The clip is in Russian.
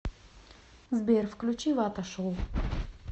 сбер включи вата шоу